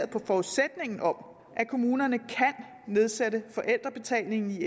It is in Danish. på forudsætningen om at kommunerne kan nedsætte forældrebetalingen i